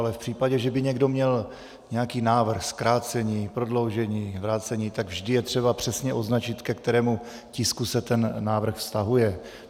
Ale v případě, že by někdo měl nějaký návrh, zkrácení, prodloužení, vrácení, tak vždy je třeba přesně označit, ke kterému tisku se ten návrh vztahuje.